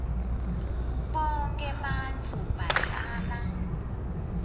bonkhe bantfu bahlala